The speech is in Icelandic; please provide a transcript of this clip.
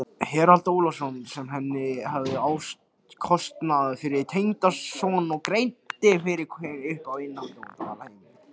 Harald Ólafsson sem henni hafði áskotnast fyrir tengdason og greiddi fyrir hana uppihald á Dvalarheimilinu.